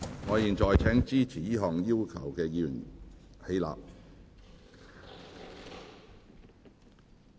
我現在請支持這項要求的議員起立。